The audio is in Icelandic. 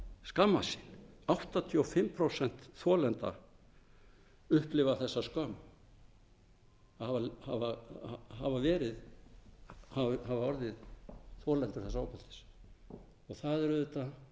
skammast sín áttatíu og fimm prósent þolenda upplifa þessa skömm að hafa orðið þolendur þessa ofbeldis það er auðvitað